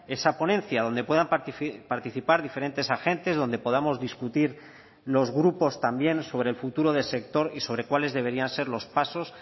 esa ponencia donde puedan participar diferentes agentes donde podamos discutir los grupos también sobre el futuro del sector y sobre cuáles deberían ser los pasos